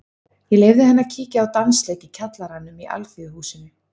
Ég leyfði henni að kíkja á dansleik í kjallaranum í Alþýðuhúsinu.